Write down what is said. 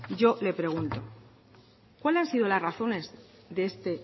yo le pregunto cuáles han sido las razones de este